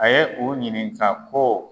A ye u ɲininka ko